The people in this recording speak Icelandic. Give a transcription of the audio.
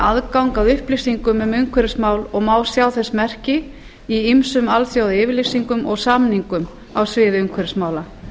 aðgang að upplýsingum um umhverfismál og má sjá þess merki í ýmsum alþjóðayfirlýsingum og samningum á sviði umhverfismála